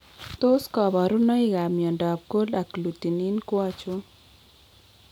Tos kabarunoik ab myondab Cold agglutinin ko achon?